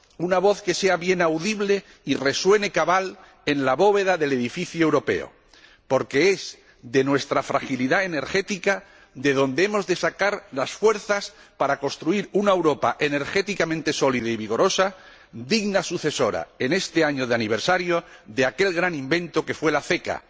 Una voz que sea bien audible y resuene cabal en la bóveda del edificio europeo, porque es de nuestra fragilidad energética de donde hemos de sacar las fuerzas para construir una Europa energéticamente sólida y vigorosa, digna sucesora, en este año de aniversario, de aquel gran invento que fue la CECA,